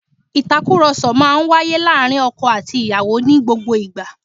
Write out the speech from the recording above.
Ìtàkùrọ̀sọ máa ń wáyé láàárín ọkọ àti ìyàwó ní gbogbo ìgbà